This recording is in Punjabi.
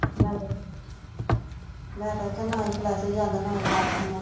ਲੈ ਦਸ ਮੈਂ ਤੇ ਆਖਿਆ ਨਾਹੀਂ flush ਜਾਂਦਾ ਨਾ ਹੀ attack ਹੁੰਦਾ